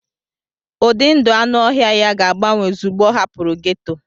Ụdị ndụ anụ ọhịa ya ga-agbanwe ozugbo ọ hapụrụ gétò